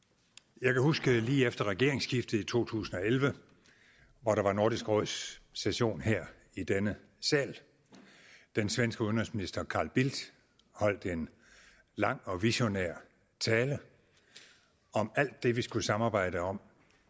jeg kan huske lige efter regeringsskiftet i to tusind og elleve hvor der var nordisk råds session her i denne sal at den svenske udenrigsminister carl bildt holdt en lang og visionær tale om alt det vi skulle samarbejde om